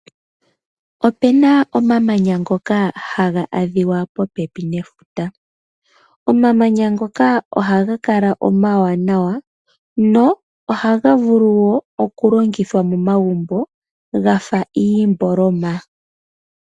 Opuna omamanya ngoka haga adhiwa popepi nefuta. Omamanya ngoka ohaga kala omawanawa nohaga vulu oku longithwa momagumbo gafa iimboloma.